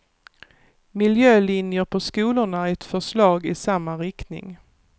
Miljölinjer på skolorna är ett förslag i samma riktning.